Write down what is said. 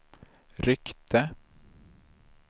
ryckte